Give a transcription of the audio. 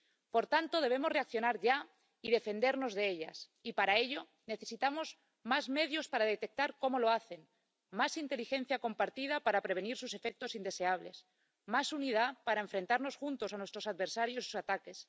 Por tanto, debemos reaccionar ya y defendernos de ellos, y para ello necesitamos más medios para detectar cómo lo hacen, más inteligencia compartida para prevenir sus efectos indeseables, más unidad para enfrentarnos juntos a nuestros adversarios y sus ataques.